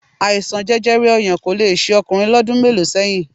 Àìsàn jẹjẹrẹ ọyàn kò le ṣe ọkùnrin lọ́dún mélòó sẹ́yìn